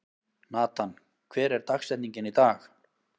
Natan, hver er dagsetningin í dag?